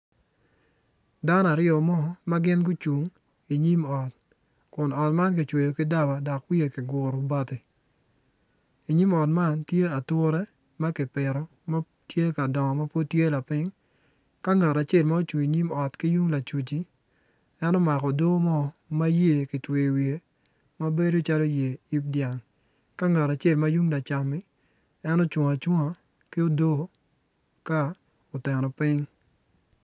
Dano aryo ma gin gucung inyim ot kun ot man kicweyo ki daba dok wiye kiguro bati inyim ot man tye ature ma kipito ma tye ka dongo ma pud tye lapiny ka ngat acel ma ocung inyim ot ki tung lacuc-ci en omako odo mo ma yer kitweyo iwiye ma bedo calo yer yib dyang ka ngat acel ma tung lacam-mi en ocung acunga ki odo ka oteno piny.